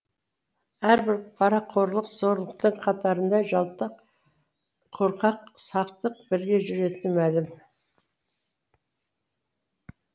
әрбір парақорлық зорлықтың қатарында жалтақ қорқақ сақтық бірге жүретіні мәлім